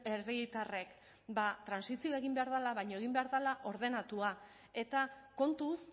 herritarrek ba trantsizioa egin behar dela baina egin behar dela ordenatua eta kontuz